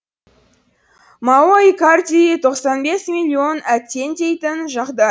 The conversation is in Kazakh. мауро икарди тоқсан бес миллион әттең дейтін жағдай